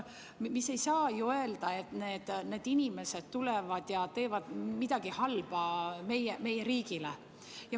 Ei saa ju öelda, et need inimesed tulevad ja teevad midagi halba meie riigile.